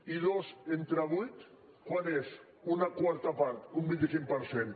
i dos entre vuit quant és una quarta part un vint cinc per cent